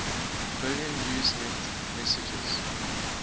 billion usenet messages